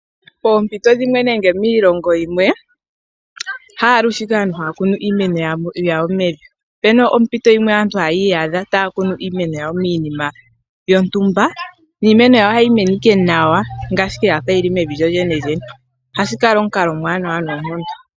Pompito dhimwe nenge miilongo yimwe haalushe aantu haya kunu iimeno yawo mevi opena ompito yimwe aantu taa iyadha taya kunu iimeno yawo miinima yontumba niimeno yawo ohayi mene ike nawa ngaashi ike yafa yili mevi lyolyene. Ohashi kala omukalo omuwanawa noonkondo.